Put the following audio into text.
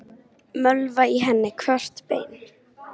Mölva í henni hvert bein.